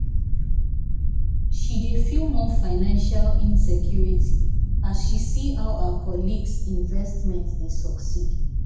she dey feel more financial insecurity as she see how her colleagues' investments dey succeed.